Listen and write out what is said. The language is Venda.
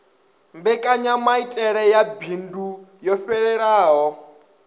mbekanyamaitele ya bindu yo fhelelaho